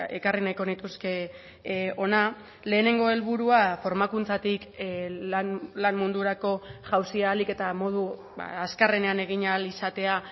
ekarri nahiko nituzke hona lehenengo helburua formakuntzatik lan mundurako jauzia ahalik eta modu azkarrenean egin ahal izatea